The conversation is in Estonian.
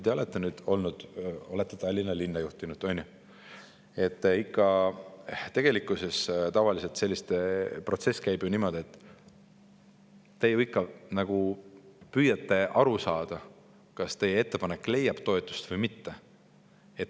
Te olete Tallinna linna juhtinud ja teate, et tegelikkuses käib protsess tavaliselt niimoodi, et te püüate ju ikka aru saada, kas teie ettepanek leiab toetust või mitte.